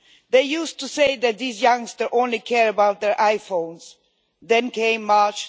They used to say that these youngsters only cared about their iPhones, then came March